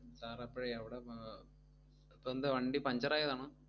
sir അപ്പഴേ അവിട അഹ് അപ്പെന്താ വണ്ടി puncture ആയതാണോ?